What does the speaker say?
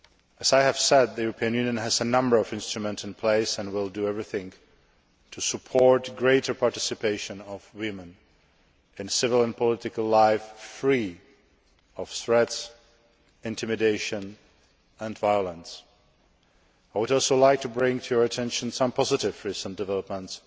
As I said, the European Union has a number of instruments in place and will do everything to support greater participation of women in civil and political life, free from threats, intimidation and violence. I would also like to bring to Members' attention some positive recent developments,